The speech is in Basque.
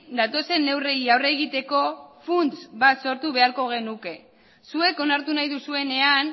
datozen neurriei aurre egiteko funts bat sortu beharko genuke zuek onartu nahi duzuenean